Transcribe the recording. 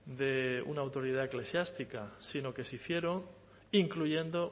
de una autoridad eclesiástica sino que se hicieron incluyendo